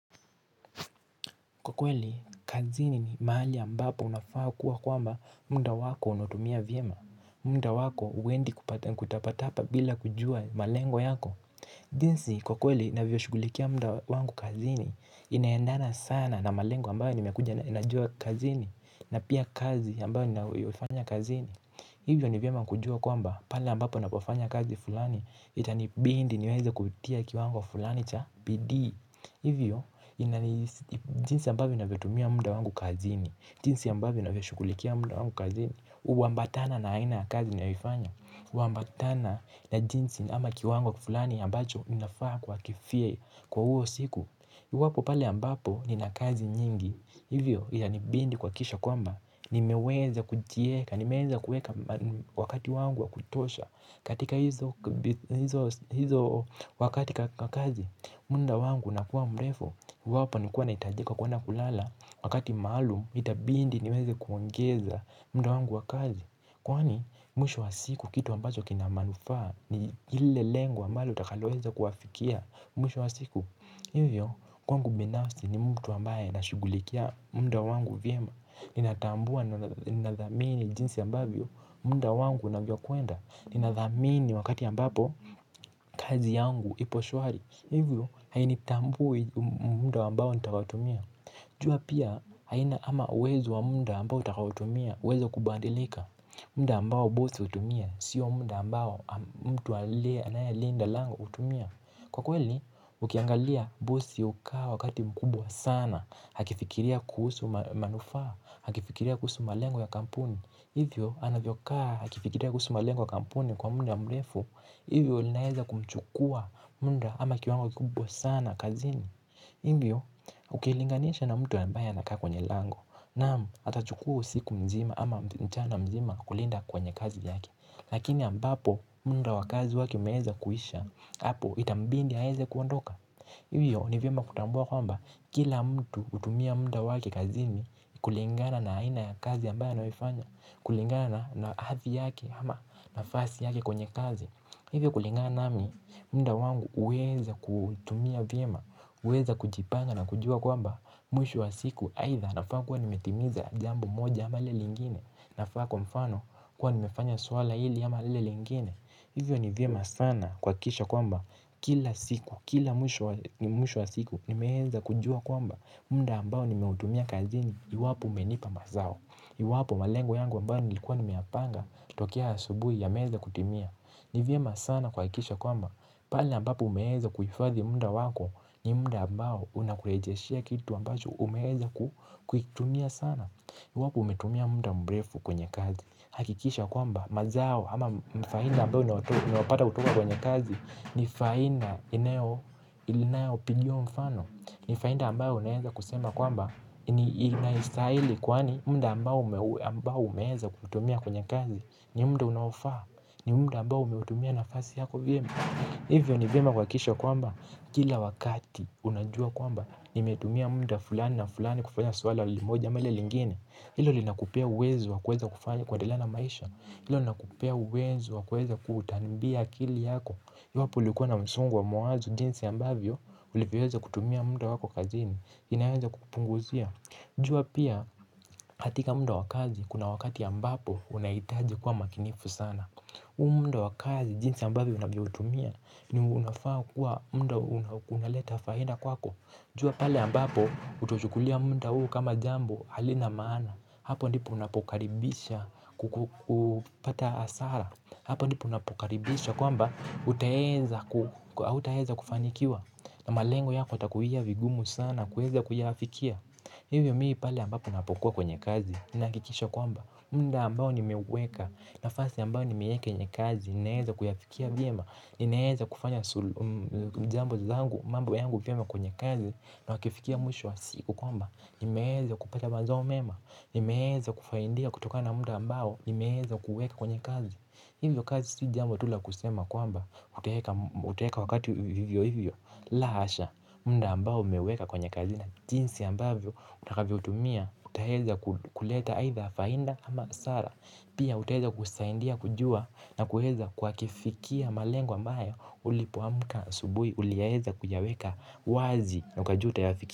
Kwa kweli, kazini ni mahali ambapo unafaa kuwa kwamba muda wako unautumia vyema. Muda wako uwendi kutapatapa bila kujua malengo yako. Jinsi, kwa kweli navyoshugulikia muda wangu kazini, inaendana sana na malengo ambayo nimekuja na najua kazini. Na pia kazi ambayo nayoufanya kazini. Hivyo ni vyema kujua kwamba pale ambapo napofanya kazi fulani, itanibidi niweze kutia kiwango fulani cha bidii. Hivyo jinsi ambavyo na vitumia muda wangu kazini. Jinsi ambavyo navyoshukulikia muda wangu kazini. Uwambatana na aina kazi naifanya. Uwambatana na jinsi ama kiwango fulani ambacho inafaa kuakifie kwa huo siku. Iwapo pale ambapo nina kazi nyingi hivyo yanibindi kuwakikisha kwamba nimeweza kujieka, nimeweza kuweka wakati wangu wa kutosha. Katika hizo wakati kakazi. Muda wangu unakuwa mrefu iwapo nikua naitajika kuenda kulala wakati maalum itabindi niweze kuongeza muda wangu wa kazi. Kwani mwisho wa siku kitu ambacho kinamanufaa ni hile lengo ambalo utakaloweza kuafikia mwisho wa siku. Hivyo kwangu binafsi ni mtu ambaye anashugulikia muda wangu vyema. Ninatambua ninadhamini jinsi ambavyo muda wangu unavyo kwenda ninadhamini wakati ambapo kazi yangu ipo shwari. Hivyo hainitambui muda ambao nitakaotumia jua pia haina ama uwezo wa muda ambao nitakaotumia. Uweze kubandilika. Muda ambao bosi utumia. Sio muda ambao mtu alea anaye linda lango utumia. Kwa kweli ukiangalia bosi ukawa wakati mkubwa sana akifikiria kuhusu manufaa akifikiria kuhusu malengo ya kampuni. Hivyo anavyokaa akifikiria kuhusu malengo ya kampuni kwa muda mrefu hivyo linaeza kumchukua muda ama kiwango kubwa sana kazini hivyo ukilinganisha na mtu ambaye anakaa kwenye lango naamu atachukua usiku mzima ama mchana mzima kulinda kwenye kazi yake lakini ambapo muda wa kazi wake umeeza kuhisha hapo itambindi aeze kuondoka hivyo ni vyema kutambua kwamba kila mtu hutumia muda wake kazini kulingana na aina ya kazi ambayi anaifanya kulingana na hathi yake ama nafasi yake kwenye kazi. Hivyo kulingana nami, munda wangu uweza kutumia vyema, uweza kujipanga na kujua kwamba mwisho wa siku haitha nafaa kuwa nimetimiza jambo moja ama lile lingine nafaa kwa mfano kuwa nimefanya swala hili ama lile lingine. Hivyo ni vyema sana kwakikisha kwamba kila siku, kila mwisho wa siku nimeeza kujua kwamba munda ambao nimetumia kazini iwapo umenipa mazao. Iwapo malengo yangu ambayo nilikuwa nimiapanga tokea asubui ya meza kutimia. Niv yema sana kwakikisha kwamba pale ambapo umeeza kufadhi munda wako ni munda ambayo unakurejeshea kitu ambacho umeeza kutumia sana. Iwapo umetumia munda mrefu kwenye kazi. Hakikisha kwamba mazao ama mfainda ambayo unaopata kutoka kwenye kazi. Ni fainda inayo pigiwa mfano. Ni fainda ambayo unaeza kusema kwamba ni inaisahili kwani munda ambao umeeza kutumia kwenye kazi. Ni munda unaofaa. Ni munda ambao umeutumia nafasi yako vyema. Hivyo ni vyema kuwakikisha kwamba kila wakati unajua kwamba nimetumia munda fulani na fulani kufanya swala limoja ama ile lingine. Hilo linakupea uwezo wakuweza kufanya kuedelea na maisha. Hilo nakupea uwezo wakuweza kutambia kili yako. Hivyo hapo ulikuwa na msongo wa mawazo jinsi ambavyo ulevyoweza kutumia munda wako kazini. Inaeza kupunguzia. Jua pia katika munda wa kazi. Kuna wakati ambapo unaitaji kuwa makinifu sana huu munda wa kazi jinsi ambavyo unavyotumia. Ni unafaa kuwa munda unaleta faida kwako. Jua pale ambapo utochukulia munda huu kama jambo. Halina maana. Hapo ndipo unapokaribisha kukupata asara. Hapo ndipo unapokaribisha kwamba utaweza kufanikiwa. Na malengo yako yatakuia vigumu sana na kuweza kuyafikia. Hivyo mimi pale ambapo napokuwa kwenye kazi. Ninaakikisha kwamba munda ambao nimeuweka. Nafasi ambao nimeieke yenye kazi. Ninaeza kuyafikia vyema. Ninaeza kufanya jambo zangu. Mambo yangu vyema kwenye kazi. Na wakifikia mwisho wa siku kwamba nimeeza kupata mazao mema. Nimeeza kufaindia kutokana munda ambao nimeeza kuuweka kwenye kazi. Hivyo kazi si jambo tu la kusema kwamba uteweka wakati hivyo hivyo. La hasha. Munda ambao umeweka kwenye kazi na jinsi ambavyo utakavyo utumia utaeza kuleta either fainda ama sara. Pia utaeza kusaindia kujua na kuweza kuwa kifikia malengo ambayo ulipoamuka asubui uliaeza kuyaweka wazi na ukajua utayafikia.